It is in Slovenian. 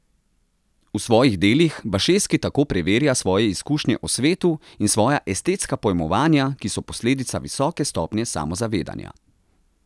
V svojih delih Bašeski tako preverja svoje izkušnje o svetu in svoja estetska pojmovanja, ki so posledica visoke stopnje samozavedanja.